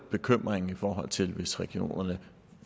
bekymringen i forhold til hvis regionerne